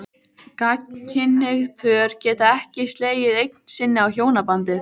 Gagnkynhneigð pör geta ekki slegið eign sinni á hjónabandið.